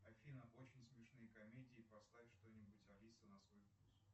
афина очень смешные комедии поставь что нибудь алиса на свой вкус